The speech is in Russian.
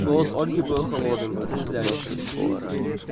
голос ольги был холодным отрезвляющим